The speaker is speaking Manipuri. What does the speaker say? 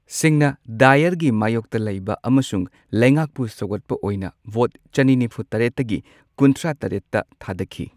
ꯁꯤꯡꯅ ꯗꯥꯏꯌꯔꯒꯤ ꯃꯥꯌꯣꯛꯇ ꯂꯩꯕ ꯑꯃꯁꯨꯡ ꯂꯩꯉꯥꯛꯄꯨ ꯁꯧꯒꯠꯄ ꯑꯣꯏꯅ ꯚꯣꯠ ꯆꯅꯤ ꯅꯤꯐꯨ ꯇꯔꯦꯠꯇꯒꯤ ꯀꯨꯟꯊ꯭ꯔꯥ ꯇꯔꯦꯠꯇ ꯊꯥꯗꯈꯤ꯫